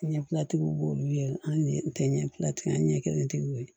Ɲɛbila tigiw b'olu ye an tɛ ɲɛtigiw an ɲɛ kelentigiw ye